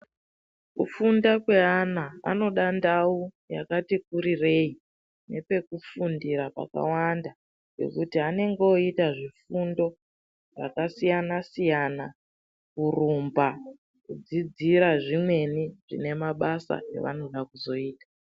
Kufunda kwe ana anoda ndau yakati kurirei nepeku fundira paka wanda pekuti anenge oyita zvifundo zvaka siyana siyana kurumba kudzidzira zvimweni zvine mabasa avanoda kuzoita.